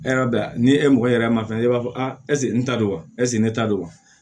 ni e mɔgɔ yɛrɛ ma fɛn e b'a fɔ ɛseke n ta don wa ɛseke ne ta don wa